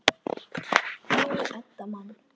Jú, Edda man.